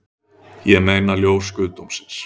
Ég meina ljós guðdómsins